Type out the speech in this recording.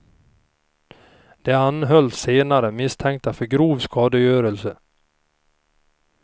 De anhölls senare misstänkta för grov skadegörelse.